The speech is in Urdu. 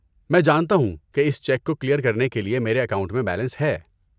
میں جانتا ہوں کہ اس چیک کو کلیئر کرنے کے لیے میرے اکاؤنٹ میں بیلنس ہے۔